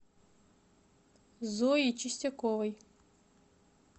зои чистяковой